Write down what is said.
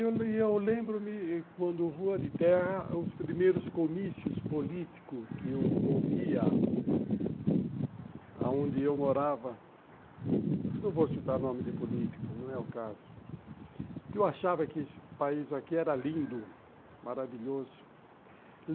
Eu lembro-me quando rua de terra, os primeiros comícios políticos que eu ouvia, aonde eu morava, não vou citar nome de político, não é o caso, que eu achava que esse país aqui era lindo, maravilhoso.